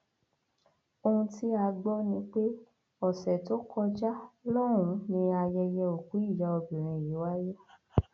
ohun ohun tí a gbọ ni pé ọsẹ tó kọjá lọhùnún ni ayẹyẹ òkú ìyá obìnrin yìí wáyé